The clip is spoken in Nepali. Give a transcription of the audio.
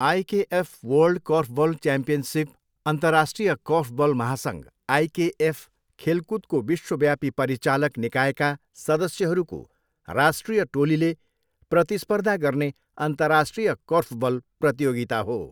आइकेएफ वर्ल्ड कोर्फबल च्याम्पियनसिप अन्तर्राष्ट्रिय कोर्फबल महासङघ, आइकेएफ, खेलकुदको विश्वव्यापी परिचालक निकायका सदस्यहरूको राष्ट्रिय टोलीले प्रतिस्पर्धा गर्ने अन्तर्राष्ट्रिय कोर्फबल प्रतियोगिता हो।